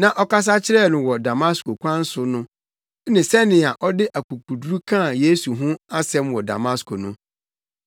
na ɔkasa kyerɛɛ no wɔ Damasko kwan so no ne sɛnea ɔde akokoduru kaa Yesu ho asɛm wɔ Damasko no.